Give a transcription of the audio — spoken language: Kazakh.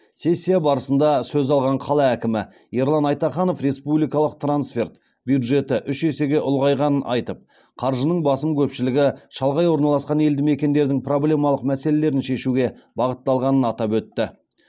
сессия барысында сөз алған қала әкімі ерлан айтаханов республикалық трансферт бюджеті үш есеге ұлғайғанын айтып қаржының басым көпшілігі шалғай орналасқан елді мекендердің проблемалық мәселелерін шешуге бағытталғанын атап өтті